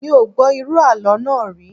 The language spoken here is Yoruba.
Mi ò gbọ́ irú àlọ́ náà rí